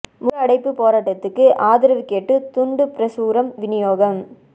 முழு அடைப்புப் போராட்டத்துக்கு ஆதரவு கேட்டு துண்டுப் பிரசுரம் விநியோகம்